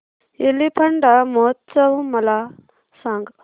एलिफंटा महोत्सव मला सांग